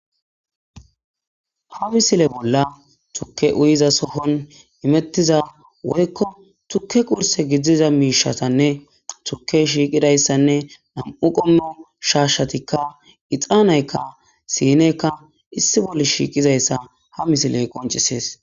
Ha misile bolla tuke uyizasohon imettiza woyko tuke qurse gidiza mishetanne turkey shiqidaysanne nam'u qomo shashatika ixaneyka sineyika issi bolla shiqizaysa ha misiley qonc'ises.